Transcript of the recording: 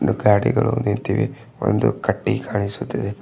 ಗಾಡಿಗಳು ನಿಂತಿವೆ ಒಂದು ಕಟ್ಟಿ ಕಾಣಿಸುತಿದೆ.